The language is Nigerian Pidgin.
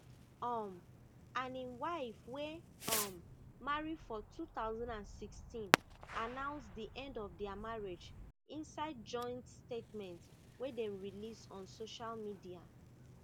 um and im wife wey um marry for two thousand and sixteen anounce di end of dia marriage inside joint statement wey dem release on social media